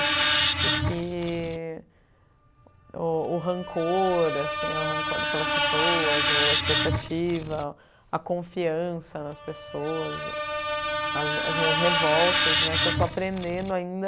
E que o o rancor assim, o ranco pelas pessoas, a expectativa, a confiança nas pessoas, as as minhas revoltas, que eu estou aprendendo ainda.